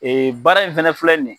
Baara in fɛnɛ filɛ nin ye.